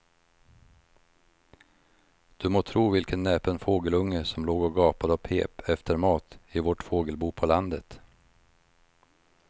Du må tro vilken näpen fågelunge som låg och gapade och pep efter mat i vårt fågelbo på landet.